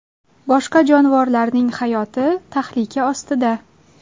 Boshqa jonivorlarning hayoti tahlika ostida.